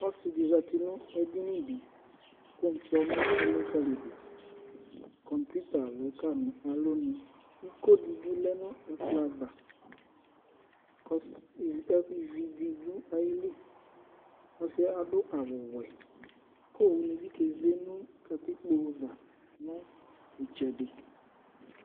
Ɔsɩ dɩ zati nʋ edini dɩ kʋ ʋkpɔnʋ elikǝli yɩ dʋ Kɔmpuita lɛ ka nʋ alɔnu Iko dɩ bɩ lɛ nʋ ɛkplɔ ava kʋ ɔsɩ yɛ, ivi dɩ dʋ ayili Ɔsɩ adʋ awʋwɛ kʋ owunɩ bɩ keze nʋ katikpo ava nʋ ɩtsɛdɩ